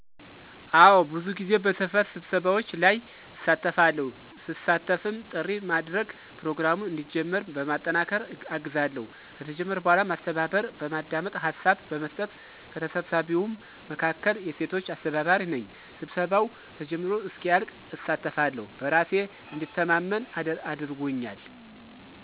አወ ብዙ ጊዜ በሰፈር ስብሰባዎች ላይ እሳተፋለሁ, ስሳተፍም ጥሪ ማድረግ፣ ፕሮግራሙን እንዲጀመር በማጠናከር አግዛለሁ፣ ከተጀመረ በኋላ ማስተባበር፣ በማዳመጥ ሀሳብ በመስጠት፣ ከተሰብሳቢዉም መካከል የሴቶች አስተባባሪ ነኝ; ስብሰባዉ ተጀምሮ እስኪያልቅ እሳተፋለሁ በራሴ እንድተማመን አድርጎኛል።